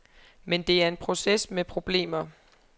Men det er en proces med problemer.